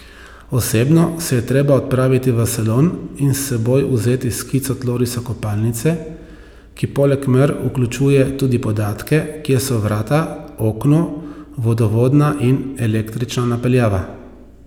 Osebno se je treba odpraviti v salon in s seboj vzeti skico tlorisa kopalnice, ki poleg mer vključuje tudi podatke, kje so vrata, okno, vodovodna in električna napeljava.